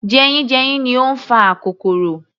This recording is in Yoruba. Jeyínjeyín ni ó ń fa akokoro